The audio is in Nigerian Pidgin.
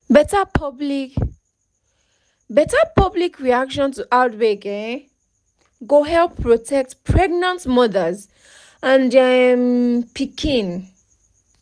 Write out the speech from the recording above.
better public better public reaction to outbreak um go help protect pregnant mothers and their um pikin